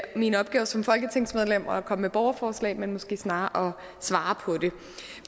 min opgave som folketingsmedlem at komme med et borgerforslag men måske snarere at svare på det